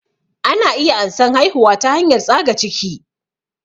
Ana iya ansan haihuwa ta hanyar tsaga ciki